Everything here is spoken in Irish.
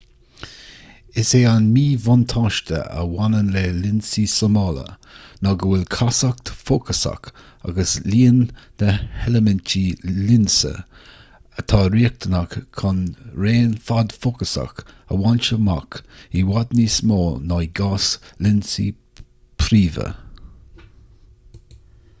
is é an míbhuntáiste a bhaineann le lionsaí súmála ná go bhfuil castacht fhócasach agus líon na n-eilimintí lionsa atá riachtanach chun raon fad fócasach a bhaint amach i bhfad níos mó ná i gcás lionsaí príomha